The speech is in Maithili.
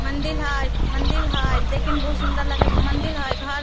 मंदिर हेय मंदिर हेय देखे मे बहुत सुन्दर लगे हेय मंदिर हेय घर --